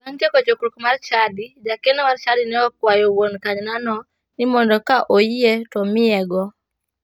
Bang' tieko chokruok mar chadi, jakeno mar chadi ne okwayo wuon kanynano ni mondo ka oyie to omiyego.